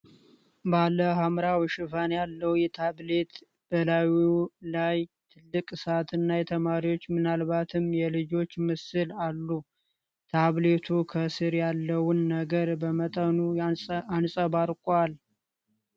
ባለ ሐምራዊ ሽፋን ያለው ታብሌት በላዩ ላይ ትልቅ ሰዓትና የተማሪዎች ምናልባትም የልጆች ምስል አሉ። ታብሌቱ ከስር ያለውን ነገር በመጠኑ አንጸባርቋል።